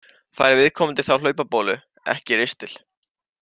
Fær viðkomandi þá hlaupabólu, ekki ristil.